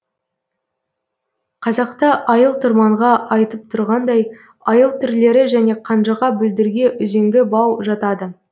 қазақта айыл тұрманға айтып тұрғандай айыл түрлері және қанжыға бүлдірге үзеңгі бау жатады